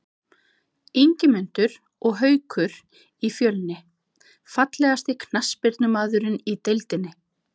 Ingimundur og Haukur í Fjölni Fallegasti knattspyrnumaðurinn í deildinni?